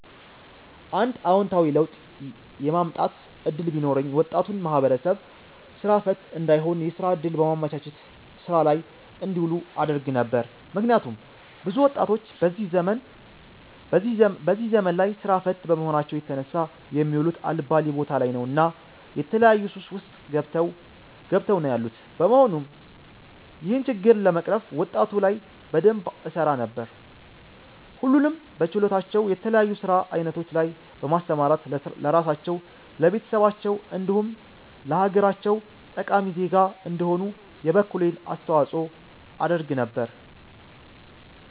አንድ አወንታዊ ለውጥ የማምጣት እድል ቢኖረኝ ወጣቱን ማህበረሰብ ስራ ፈት እንዳይሆን የስራ እድል በማመቻቸት ስራ ላይ እንዲውሉ አደርግ ነበር። ምክንያቱም ብዙ ወጣቶች በዚህ ዘመን ላይ ስራ ፈት በመሆናቸው የተነሳ የሚውሉት አልባሌ ቦታ ላይ ነው እና የተለያዩ ሱስ ውስጥ ገብተው ነው ያሉት በመሆኑም ይህንን ችግር ለመቅረፍ ወጣቱ ላይ በደንብ እሰራ ነበር። ሁሉንም በችሎታቸው የተለያዩ የስራ አይነቶች ላይ በማሰማራት ለራሳቸው፣ ለቤተሰባቸው እንዲሁም ለሀገራቸው ጠቃሚ ዜጋ እንዲሆኑ የበኩሌን አስተዋፅኦ አደርግ ነበር